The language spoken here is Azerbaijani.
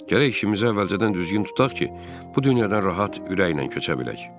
Gərək işimiz əvvəlcədən düzgün tutaq ki, bu dünyadan rahat ürəklə köçə bilək.